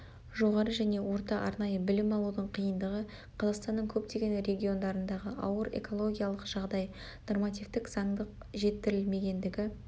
жоғары және орта арнайы білім алудың қиындығы қазақстанның көптеген региондарындағы ауыр экологиялық жағдай нормативтік заңдық жетілдірілмегендігі